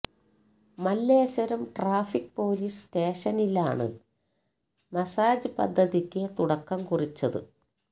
Malleswaram traffic police സ്റ്റേഷനിലാണ് massage പദ്ധതിക്ക് തുടക്കം കുറിച്ചത്